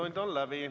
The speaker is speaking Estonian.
Infotund on läbi.